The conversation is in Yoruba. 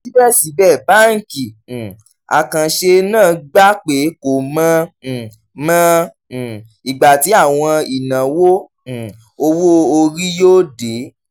síbẹ̀síbẹ̀ báńkì um àkànṣe náà gbà pé kò mọ um mọ um ìgbà tí àwọn ìnáwó um owó orí yóò dé